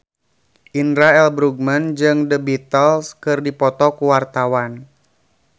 Indra L. Bruggman jeung The Beatles keur dipoto ku wartawan